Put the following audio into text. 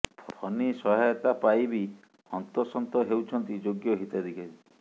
ଫନି ସହାୟତା ପାଇ ବି ହନ୍ତସନ୍ତ ହେଉଛନ୍ତି ଯୋଗ୍ୟ ହିତାଧିକାରୀ